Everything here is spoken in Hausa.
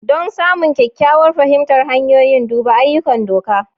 Don samun kyakkyawar fahimtar hanyoyin, duba ayyukan doka.